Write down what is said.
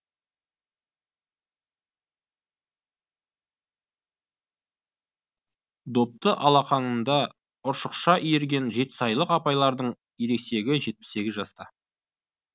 допты алақынында ұршықша иірген жетісайлық апалардың ересегі жетпіс сегіз жаста